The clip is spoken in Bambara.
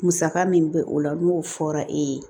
Musaka min bɛ o la n'o fɔra e ye